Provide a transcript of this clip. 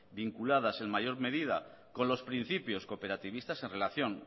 vinculadas en mayor medida con los principios cooperativistas en relación